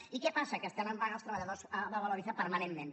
i què passa que estan en vaga els treballadors de valoriza permanentment